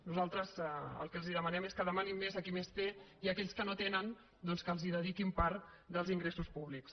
nosaltres el que els demanem és que demanin més a qui més té i a aquells que no tenen doncs que els dediquin part dels ingressos públics